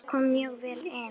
Kári kom mjög vel inn.